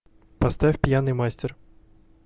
поставь пьяный мастер